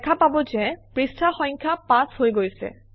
দেখা পাব যে পৃষ্ঠা সংখ্যা 5 হৈ গৈছে